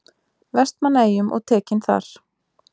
Vestmannaeyjum og tekinn þar.